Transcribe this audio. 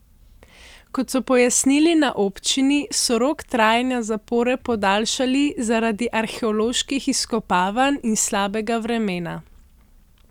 Kot so pojasnili na občini, so rok trajanja zapore podaljšali zaradi arheoloških izkopavanj in slabega vremena.